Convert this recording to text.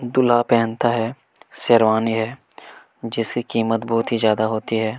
दूल्हा पहनता है शेरवानी है जिसकी कीमत बहुत ही ज्यादा होती हैं।